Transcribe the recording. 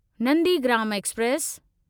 Nandigram express